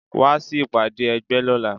Wá sí ìpàdé ẹgbẹ́ lọ́la.